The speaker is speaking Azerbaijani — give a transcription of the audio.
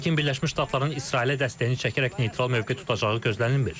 Lakin Birləşmiş Ştatların İsrailə dəstəyini çəkərək neytral mövqe tutacağı gözlənilmir.